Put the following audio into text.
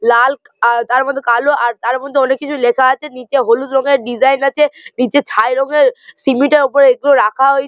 লালক আর তার মধ্যে কালো আর তার মধ্যে অনেক কিছু লেখা আছে নীচে হলুদ রঙের ডিজাইন আছে নিচে ছাই রঙের সিমেন্ট এর উপরে এইগুলো রাখা হয় --